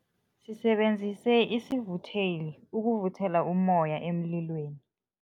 Sisebenzise isivutheli ukuvuthela ummoya emlilweni.